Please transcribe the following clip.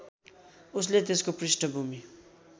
उसले त्यसको पृष्ठभूमि